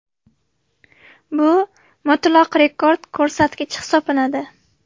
Bu mutlaq rekord ko‘rsatkich hisoblanadi.